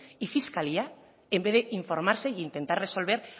y fiscalía en vez de informarse e intentar resolver